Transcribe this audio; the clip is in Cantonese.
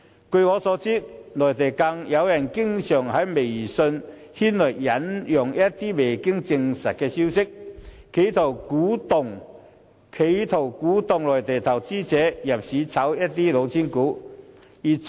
據我所知，內地有人經常在微信引述一些未經證實的消息，企圖鼓動內地投資者入市"炒"一些"老千股"。